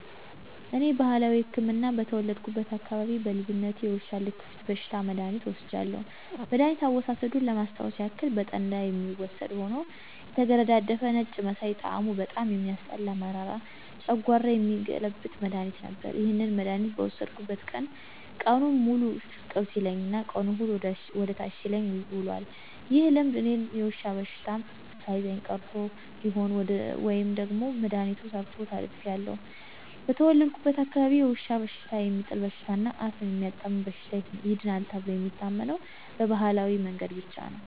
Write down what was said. እኔ ባህላዊ ህክምና በተወለድኩበት አካባቢ በልጅነቴ የውሻ ልክፍት በሽታ መድሐኒት ወስጃለሁ። መድኋኒት አወሳሰዱን ለማስታወስ ያክል በጠላ የሚወሰድ ሆኖ የተገረዳደፈ ነጭ መሳይ ጣሙ በጣም የሚያስጠላ መራራ ጨንጓራ የሚገለብጥ መድሐኒት ነበር። ይህንን መድሐኒት በወሰድኩበት ቀን ቀኑን ሙሉ ሽቅብ ሲለኝ እና ቀኑንን ሙሉ ወደ ታች ሲለኝ ውሏል። ይህ ልምድ እኔን የዉሻ በሽተው ሳይዘኝ ቀርቶ ይሁን ወይም ደግሞ መድሐኒቱ ሰርቶ ተርፌአለሁ። በተወለድኩበት አካባቢ የውሻ በሽታ፣ የሚጥል በሽታ እና አፍ የሚያጣምም በሽታ ይድናል ተብሎ የሚታመነው በባህላዊ መንገድ ብቻ ነው።